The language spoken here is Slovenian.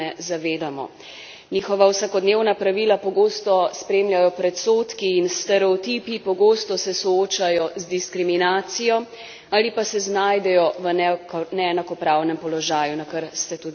Njihova vsakodnevna pravila pogosto spremljajo predsodki in stereotipi, pogosto se soočajo z diskriminacijo ali pa se znajdejo v neenakopravnem položaju, na kar ste tudi sami opozorili.